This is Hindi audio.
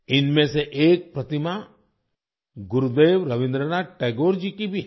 इनमें से एक प्रतिमा गुरुदेव रवींद्रनाथ टैगोर जी की भी है